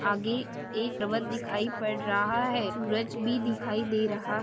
आगे एक पर्वत दिखाई पड़ रहा है सूरज भी दिखाई दे रहा--